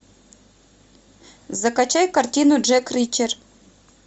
закачай картину джек ричер